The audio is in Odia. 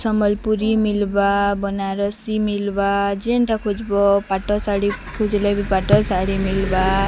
ସମ୍ବଲପୁରୀ ମିଲବା ବାନାରସି ମିଲବା ଜେନଟା ଖୋଜବ ପଟ ଶାଢ଼ୀ ଖୋଜିଲେ ବି ପାଟ ଶାଢ଼ୀ ମିଲବା।